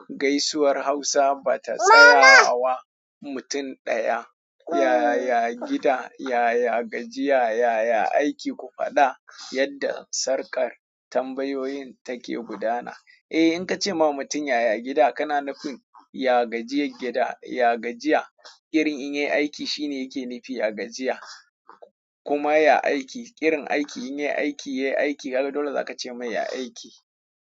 Gaisuwar Hausa ba ta tsayawa mamaaa mutum ɗaya. Yaya gida, yaya gajiya, yaya aiki, ku faɗa yadda sarƙar tambayoyin take gudana. Eh, in ka ce ma mutum yaya gida, kana nufin ya gajiyai gida, ya gajiya. Girin in yai aiki shine yake nufi ya gajiya. Kuma ya aiki, ƙirin aiki in yai aiki, yiai aiki, kaga dole za ka ce mai ya aiki.